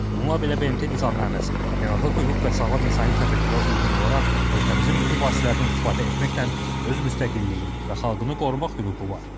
Bununla belə BMT nizamnaməsi, beynəlxalq hüquq və sağlam insani təfəkkürə uyğun olaraq ölkəmizin bütün vasitələrindən istifadə etməklə öz müstəqilliyini və xalqını qorumaq hüququ var.